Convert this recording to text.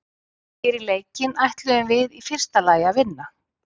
Fyrir leikinn ætluðum við í fyrsta lagi að vinna.